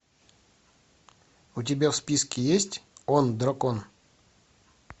у тебя в списке есть он дракон